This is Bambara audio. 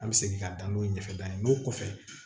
An bɛ segin ka dan n'o ye ɲɛfɛ danni n'o kɔfɛ